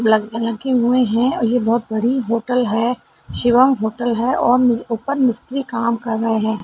Black colour की है और ये बहुत बड़ी होटल है। शिवम होटल है और ऊपर मिस्त्री काम कर रहे हैं।